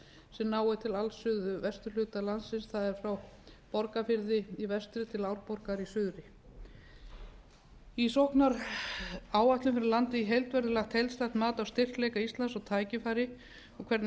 sem nái til alls suðvesturhluta landsins það er frá borgarfirði í vestri til árborgar í suðri í sóknaráætlun fyrir landið í heild verði lagt heildstætt mat á styrkleika íslands og tækifæri og hvernig